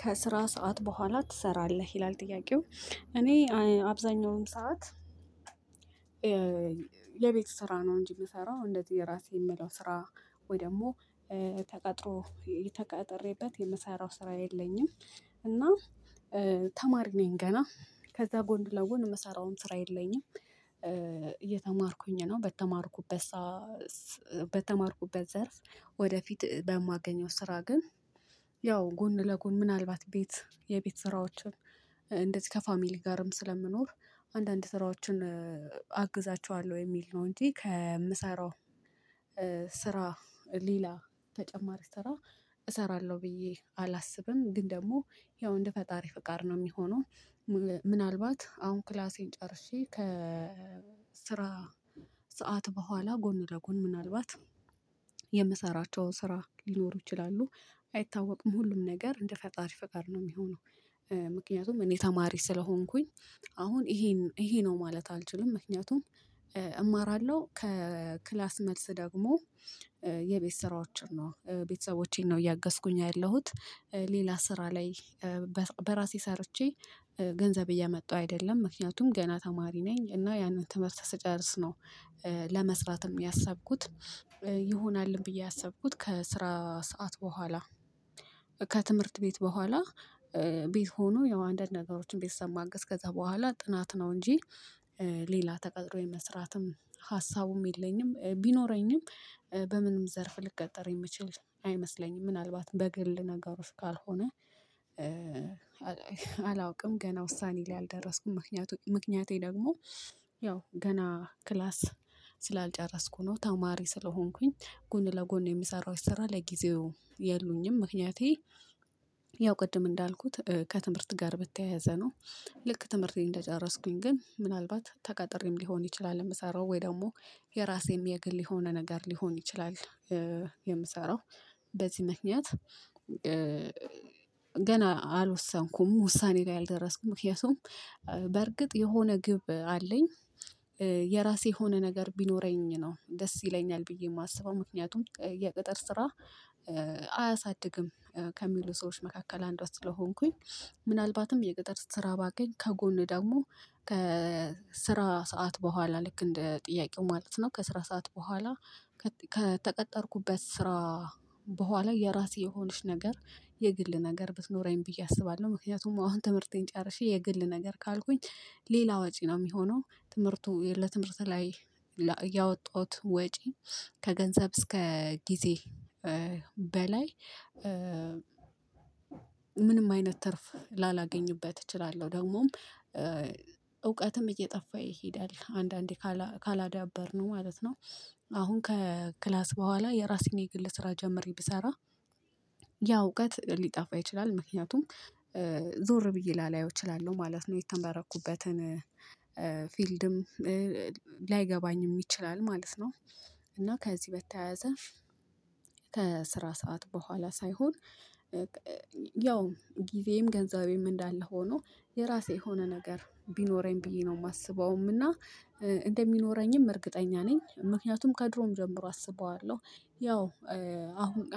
ከስራ ሰዓት በኋላ ትሰራለህ ይላል? ጥያቄው እኔ አብዛኛውን ሰዓት የቤት ስራ ነው እንጅ የምሰራው እንደዚህ የራሴ የምለው ስራ ወይ ደግሞ ተቀጥሮ የተቀጠረበት የመሰራው ስራ የለኝም እና ተማሪ ነኝ ገና ከዛ ጎን ለወን የምሰራውን ስራ የለኝም እየተማርኩኝ ነው። በተማርኩበት ዘርፍ ወደፊት በማገኘው ስራ ግን ያው ጎን ለጎን ምናልባት ቤት የቤት ስራዎችን እንደዚህ ከፋሚሊ ጋርም ስለምኖር አንዳንድ ስራዎችን አግዛቸዋለሁ የሚል ነው እንጂ ከምሰራው። ስራ ሌላ ተጨማሪ ስራ እሰራለሁ ብዬ አላስብም። ግን ደግሞ ያው እንደ ፈጣሪ ፍቃድ ነው የሚሆነው። ምናልባት አሁን ክላሴን ጨርሼ ከስራ ሰዓት በኋላ ጎን ለጎን ምናልባት የምሰራቸውን ስራ ሊኖሩ ይችላሉ አይታወቅም ሁሉም ነገር እንደ ፈጣሪ ፈቃድ ነው የሚሆነው። ምክንያቱም እኔ ተማሪ ስለሆንኩኝ አሁን ይሄ ይሄ ነው ማለት አልችልም። ምክንያቱም እማራለሁ ከክላስ መልስ ደግሞ የቤት ስራዎችን ነው ቤተሰቦቼን ነው እያገዝኩኝ ያለሁት ሌላ ስራ ላይ። በራሴ ሰርቼ ገንዘብ እያመጣሁ አይደለም ምክንያቱም ገና ተማሪ ነኝ እና ያንን ትምህርት ስትጨርስ ነው። ለመስራትም ያሰብኩት ይሆናልም ብዬ ያሰብኩት ከስራ ሰዓት በኋላ። ከትምህርት ቤት በኋላ ቤት ሆኑ ያው አንዳንድ ነገሮችን ቢሰማ አግስ ከዛ በኋላ ጥናት ነው እንጂ ሌላ ተቀጥሮ የመስራትም ሀሳቡም የለኝም። ቢኖረኝም በምንም ዘርፍ ልቀጠር የምችል አይመስለኝም ምናልባት በግል ነገሮች ካልሆነ አላውቅም ገና ውሳኔ ላይ አልደረስኩም። ምክንያቱም ምክንያቴ ደግሞ ያው ገና ክላስ ስላልጨረስኩ ነው ተማሪ ስለሆንኩኝ ጎን ለጎን የምሰራው ስራ ለጊዜው የሉኝም ምክንያቴ ያው ቅድም እንዳልኩት ከትምህርት ጋር በተያያዘ ነው። ልክ ትምህርቴን እንደጨረስኩኝ ግን ምናልባት ተቃጥሬም ሊሆን ይችላል የምሰራው ወይ ደግሞ የራሴም የግል የሆነ ነገር ሊሆን ይችላል። የምሰራው በዚህ ምክንያት ገና አልወሰንኩም ውሳኔ ላይ አልደረስኩም። ምክንያቱም በርግጥ የሆነ ግብ አለኝ። የራሴ የሆነ ነገር ቢኖረኝ ነው ደስ ይለኛል ብዬ የማስበው ምክንያቱም የቅጥር ስራ አያሳድግም ከሚሉ ሰዎች መካከል አንዷ ስለሆንኩኝ። ምናልባትም የገጠር ስራ ባገኝ ከጎን ደግሞ ከስራ ሰዓት በኋላ ልክ እንደ ጥያቄው ማለት ነው ከስራ ሰዓት በኋላ። ከተቀጠርኩበት ስራ በኋላ የራሴ የሆነች ነገር የግል ነገር ብትኖረኝ ብዬ አስባለሁ። ምክንያቱም አሁን ትምህርቴን ጨርሼ የግል ነገር ካልኩኝ ሌላ ወጪ ነው የሚሆነው ትምህርቱ ለትምህርት ላይ ያወጣሁት ወጪ ከገንዘብ እስከ ጊዜ በላይ። ምንም አይነት ትርፍ ላላገኝበት እችላለሁ ደግሞም እውቀትም እየጠፋ ይሄዳል አንዳንዴ ካላዳበርነው ማለት ነው። አሁን ከክላስ በኋላ የራሴን የግል ስራ ጀምሬ ብሰራ ያ እውቀት ሊጠፋ ይችላል ምክንያቱም ዞር ብዬ ላላየው እችላለሁ ማለት ነው። የተመረኩበትን ፊልድም ላይገባኝም ይችላል ማለት ነው። እና ከዚህ በተያያዘ ከስራ ሰዓት በኋላ ሳይሆን ያው ጊዜም ገንዘቤም እንዳለ ሆኖ የራሴ የሆነ ነገር ቢኖረኝ ብዬ ነው የማስበውም። እና እንደሚኖረኝም እርግጠኛ ነኝ ምክንያቱም ከድሮም ጀምሮ አስበዋለሁ። ያው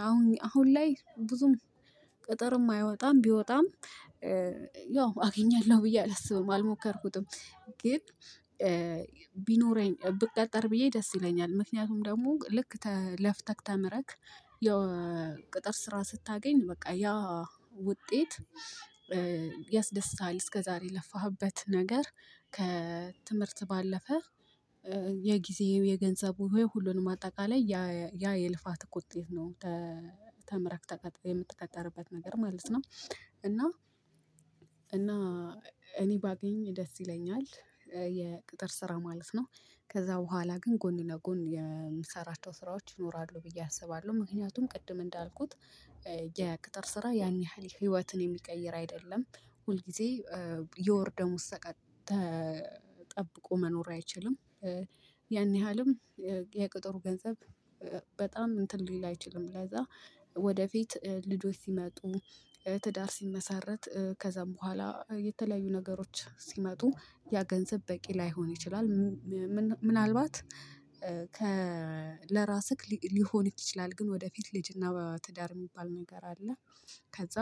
አሁን አሁን ላይ ብዙም ቅጥር የማይወጣም ቢወጣም ያው አገኛለሁ ብዬ አላስብም አልሞከርኩትም። ግን ቢኖረኝ ብቀጠር ብዬ ደስ ይለኛል። ምክንያቱም ደግሞ ልክ ለፍተህ ተምረክ ያው ቅጥር ስራ ስታገኝ በቃ ያ ውጤት ያስደስታል እስከዛሬ የለፋህበት ነገር ከትምህርት ባለፈ የጊዜው የገንዘቡ ወይ ሁሉንም አጠቃላይ ያ የልፋት ውጤት ነው። ተምረክ ቀጥረህ የምትቀጥርበት ነገር ማለት ነው። እና እና እኔ ባገኝ ደስ ይለኛል። የቅጥር ስራ ማለት ነው ከዛ በኋላ ግን ጎን ለጎን የምሰራቸው ስራዎች ይኖራሉ ብዬ አስባለሁ ምክንያቱም ቅድም እንዳልኩት የቅጥር ስራ ያን ያህል ህይወትን የሚቀይር አይደለም። ሁል ጊዜ የወር ደሞዝ ሰቀቅ ጠብቆ መኖር አይችልም። ያን ያህልም የቅጥሩ ገንዘብ በጣም እንትን ሊል አይችልም ለዚያ ወደፊት ልዶች ሲመጡ ትዳር ሲመሰረት ከዛም በኋላ የተለያዩ ነገሮች ሲመጡ ያ ገንዘብ በቂ ላይሆን ይችላል። ምናልባት ከ ለራስህ ሊሆንህ ይችላል ግን ወደፊት ልጅና በትዳር የሚባል ነገር አለ። ከዛ